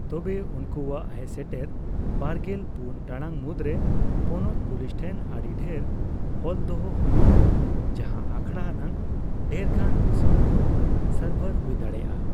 ᱛᱚᱵᱮ, ᱩᱱᱠᱩᱣᱟᱜ ᱦᱮᱡᱥᱮᱴᱮᱨ ᱵᱟᱨᱜᱮᱞ ᱯᱩᱱ ᱴᱟᱲᱟᱝ ᱢᱩᱫᱽᱨᱮ ᱯᱚᱱᱚᱛ ᱯᱩᱞᱤᱥ ᱴᱷᱮᱱ ᱟᱹᱰᱤ ᱰᱷᱮᱨ ᱚᱞᱫᱚᱦᱚ ᱦᱩᱭᱩᱜᱼᱟ, ᱡᱟᱦᱟᱸ ᱟᱠᱷᱟᱲᱟ ᱟᱱᱟᱜ ᱰᱷᱮᱨᱜᱟᱱ ᱨᱤᱥᱚᱨᱴ ᱠᱚ ᱥᱟᱨᱵᱷᱟᱨ ᱦᱩᱭ ᱫᱟᱲᱮᱭᱟᱜᱼᱟ ᱾